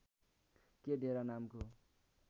के डेरा नामको